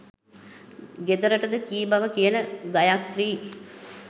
ගෙදරටද කී බව කියන ගයාත්‍රී